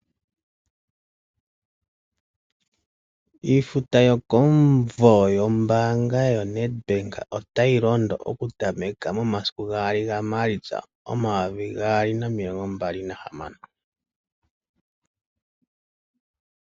Iifuta yokomuvo yombaanga yoNedbank otayi londo okutameka momasiku gaali gaMaalitsa omayovi gaali nomilongo mbali nahamano.